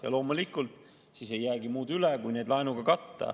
Ja loomulikult, siis ei jäägi muud üle, kui need laenuga katta.